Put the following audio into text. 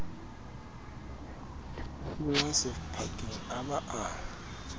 thunngwa sephakeng a ba a